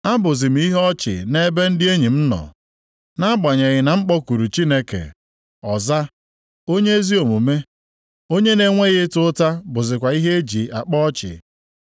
“Abụzi m ihe ọchị nʼebe ndị enyi m nọ, nʼagbanyeghị na m kpọkuru Chineke, ọ za, onye ezi omume, onye na-enweghị ịta ụta bụzikwa ihe eji akpa ọchị!